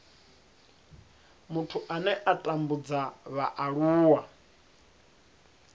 muthu ane a tambudza vhaaluwa